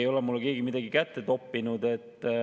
Ei ole mulle keegi midagi kätte toppinud.